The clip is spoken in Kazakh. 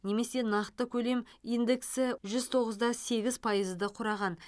немесе нақты көлем индексі жүз тоғыз да сегіз пайызды құраған